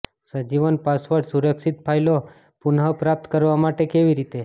સજીવન password સુરક્ષિત ફાઈલો પુનઃપ્રાપ્ત કરવા માટે કેવી રીતે